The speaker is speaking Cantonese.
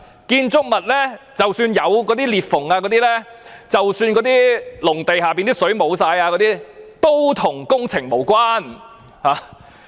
建築物即使有裂縫，農地的地下水即使全部乾涸也與工程無關。